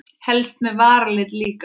Helst með varalit líka.